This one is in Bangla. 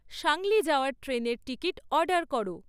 সাংলি যাওয়ার ট্রেনের টিকিট অর্ডার করো